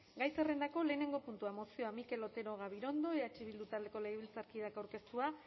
gai zerrendako lehenengo puntua mozioa mikel otero gabirondo eh bildu taldeko legebiltzarkideak aurkeztua